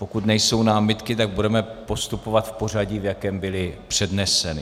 Pokud nejsou námitky, tak budeme postupovat v pořadí, v jakém byly předneseny.